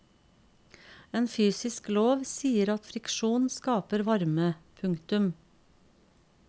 En fysisk lov sier at friksjon skaper varme. punktum